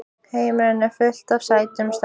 Heimurinn er fullur af sætum stelpum!